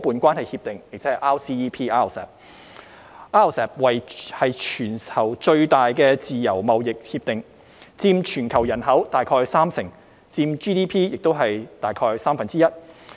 RCEP 是全球最大的自由貿易協定，佔全球人口大概三成 ，GDP 亦佔全球大概三分之一。